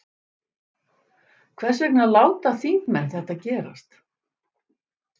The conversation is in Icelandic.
Hvers vegna láta þingmenn þetta gerast?